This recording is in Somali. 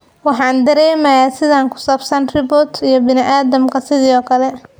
'Waxaan dareemayaa sidaan ku saabsan robots iyo bini'aadamka sidoo kale''.